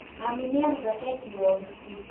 Mami nĩaruga keki ya ũhiki